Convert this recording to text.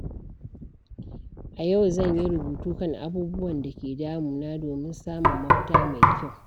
A yau zan yi rubutu kan abubuwan da ke damuna domin samun mafita mai kyau.